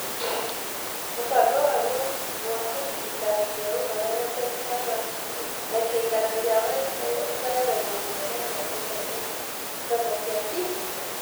Mũbango wa gwaka ciikaro cia Ũhoro na Teknoroji na ciikaro cia WIFI ũkoragwo na muoroto wa gũthondeka thoko cia digito.